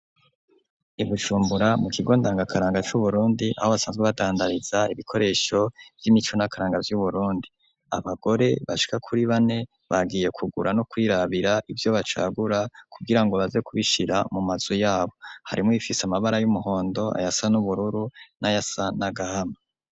i Bujumbura, mu kigo ndangakaranga c'Uburundi, aho basanzwe badandariza ibikoresho vy'imico n'akaranga vy'Uburundi; abagore bashika kuri bane, bagiye kugura no kwirabira ivyo bacagura, kugira ngo baze kubishira mu mazu yabo; harimwo ibifise amabara y'umuhondo, ayasa n'ubururu n'ayasa n'agahama.